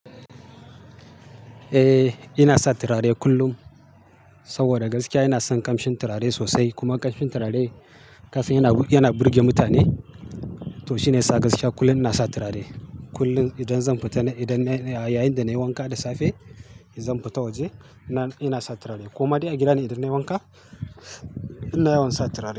Eh, ina sa turare kullum, saboda gaskiya ina son kamshin turare sosai, kuma kamshin turare kafin yana, yana burge mutane, to shine ya sa gaskiya kullum ina sa turare. Kullum idan zan fita, na, idan yayin da nayi wanka da safe, zan fita waje ina, ina sa turare. Koma dai a gida ni idan nayi wanka, ina yawan sa turare.